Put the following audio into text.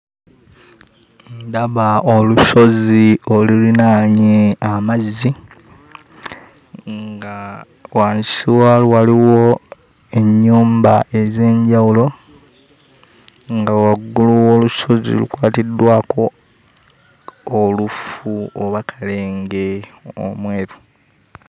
Ndaba olusozi oluliraanye amazzi nga wansi waalwo waliwo ennyumba ez'enjawulo nga waggulu w'olusozi lukwatiddwako olufu oba kalenge omweru.